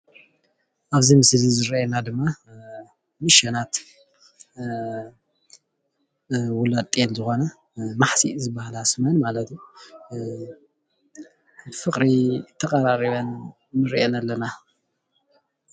ኣብዚ ምስሊ እዚ ዝረአየና ድማ ንእሽቶናት ውላድ ጤል ዝኾና ማሕሲእ ዝበሃላ ስመን ብፍቅሪ ተቀራሪብን ንሪኣን ኣለና።